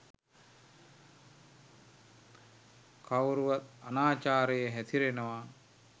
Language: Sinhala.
කවුරුවත් අනාචාරයේ හැසිරෙනවා